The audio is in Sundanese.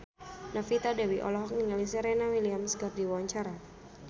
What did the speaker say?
Novita Dewi olohok ningali Serena Williams keur diwawancara